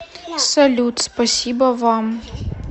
салют спасибо вам